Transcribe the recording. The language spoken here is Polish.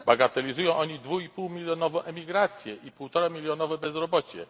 Bagatelizują oni dwuipółmilionową emigrację i półtoramilionowe bezrobocie.